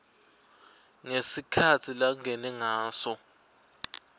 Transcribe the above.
ngesikhatsi langene ngaso